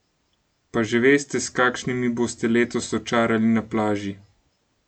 Pa že veste, s kakšnimi boste letos očarali na plaži?